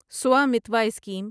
Swamitva scheme